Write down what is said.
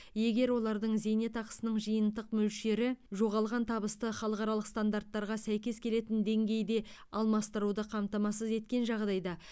егер олардың зейнетақысының жиынтық мөлшері жоғалған табысты халықаралық стандарттарға сәйкес келетін деңгейде алмастыруды қамтамасыз еткен жағдайда